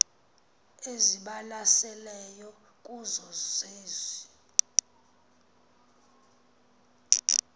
ezibalaseleyo kuzo zezi